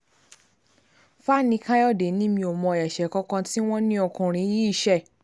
fani káyọ̀dé ni mi ò mọ ẹ̀ṣẹ̀ kan kan tí wọ́n ní ọkùnrin yìí ṣe